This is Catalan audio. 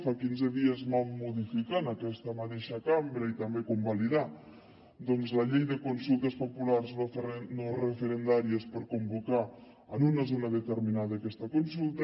fa quinze dies vam modificar en aquesta mateixa cambra i també convalidar la llei de consultes populars no referendàries per convocar en una zona determinada aquesta consulta